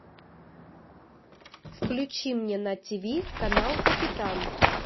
включи мне на тиви канал капитан